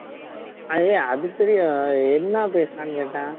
ஹே அது தெரியும் என்ன பேசுனானு கேட்டேன்